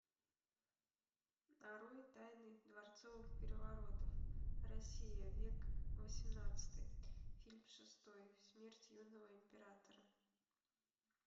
нарой тайны дворцовых переворотов россия век восемнадцатый фильм шестой смерть юного императора